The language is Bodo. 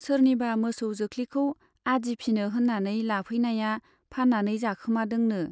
सोरनिबा मोसौ जोख्लिखौ आदि फिनो होन्नानै लाफैनाया फान्नानै जाखोमादोंनो।